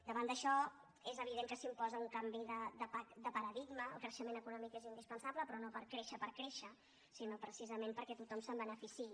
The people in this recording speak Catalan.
davant d’això és evident que s’imposa un canvi de paradigma el creixement econòmic és indispensable però no per créixer per créixer sinó precisament perquè tothom se’n beneficiï